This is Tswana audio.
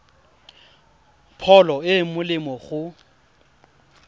pholo e e molemo go